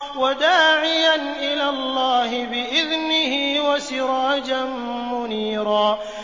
وَدَاعِيًا إِلَى اللَّهِ بِإِذْنِهِ وَسِرَاجًا مُّنِيرًا